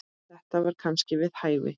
Þetta var kannski við hæfi.